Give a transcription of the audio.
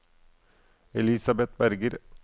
Elisabet Berger